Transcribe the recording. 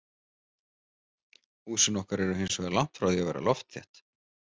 Húsin okkar eru hinsvegar langt frá því að vera loftþétt.